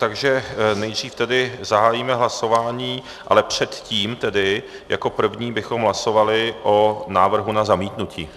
Takže nejdřív tedy zahájíme hlasování, ale předtím tedy jako první bychom hlasovali o návrhu na zamítnutí.